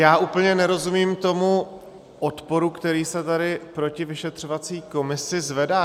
Já úplně nerozumím tomu odporu, který se tady proti vyšetřovací komisi zvedá.